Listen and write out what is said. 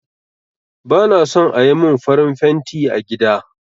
Ba na son ayi mun farin fenti a gida